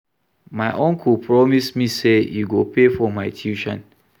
My uncle promise me say he go pay for my tuition